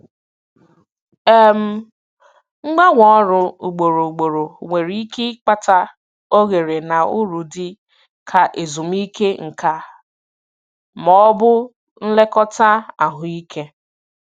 um Mgbanwe ọrụ ugboro ugboro nwere ike ịkpata oghere na uru dị ka ezumike nka ma ọ bụ nlekọta ahụike.